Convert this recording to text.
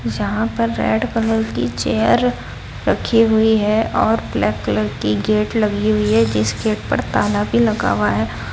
जहां पर red colour की चेयर रखी हुई है और ब्लैक कलर की गेट लगी हुई है जिसके ऊपर ताला भी लगा हुआ है।